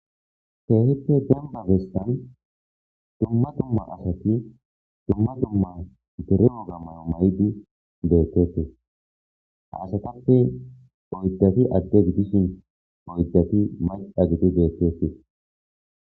Teehippe gamma bessan dumma dumma asati dumma dumma tereo gammayo may'di deetteti ha ashatappe oydafi adde gidishin oyddafi maca gidi deetteti.